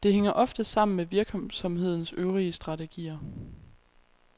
Det hænger ofte sammen med virksomhedens øvrige strategier.